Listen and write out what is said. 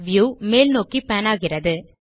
view மேல் நோக்கி pan ஆகிறது